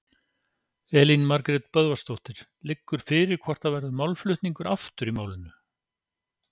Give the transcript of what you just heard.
Elín Margrét Böðvarsdóttir: Liggur fyrir hvort það verði málflutningur aftur í málinu?